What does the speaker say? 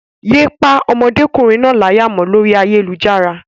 Yé pá ọmọdékùnrin náà láyà mọ́ lórí ayélujára.